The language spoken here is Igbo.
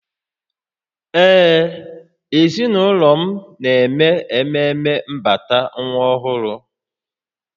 Ee, ezinụlọ m na-eme ememe mbata nwa ọhụrụ